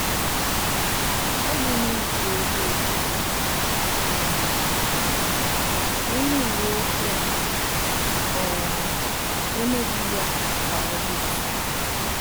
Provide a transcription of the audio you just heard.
Achọghị m iji ego edozi ya, mana onye uwe ọjị ahụ um emeghị ya ka ọ dị mfe